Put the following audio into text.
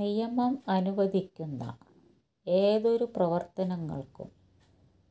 നിയമം അനുവദിക്കുന്ന ഏതൊരു പ്രവർത്തനങ്ങൾക്കും